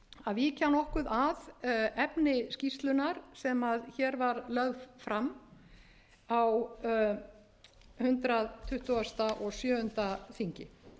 að víkja nokkuð að efni skýrslunnar sem hér var lögð fram á hundrað tuttugasta og sjöunda þingi skýrslan var tekin saman af unni birnu karlsdóttur